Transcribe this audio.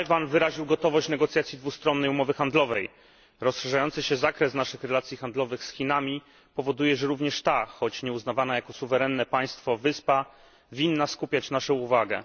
Tajwan wyraził gotowość negocjacji dwustronnej umowy handlowej. Rozszerzający się zakres naszych relacji handlowych z Chinami powoduje, że również ta, choć nieuznawana jako suwerenne państwo, wyspa winna skupiać naszą uwagę.